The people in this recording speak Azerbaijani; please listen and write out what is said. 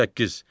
Səkkiz.